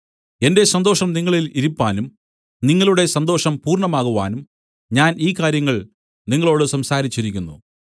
എന്റെ സന്തോഷം നിങ്ങളിൽ ഇരിപ്പാനും നിങ്ങളുടെ സന്തോഷം പൂർണ്ണമാകുവാനും ഞാൻ ഈ കാര്യങ്ങൾ നിങ്ങളോടു സംസാരിച്ചിരിക്കുന്നു